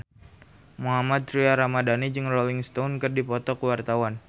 Mohammad Tria Ramadhani jeung Rolling Stone keur dipoto ku wartawan